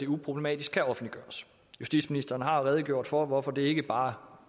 uproblematisk kan offentliggøres justitsministeren har redegjort for hvorfor det ikke bare